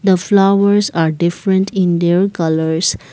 the flowers are different in their colours.